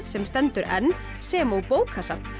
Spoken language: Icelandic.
sem stendur enn sem og bókasafn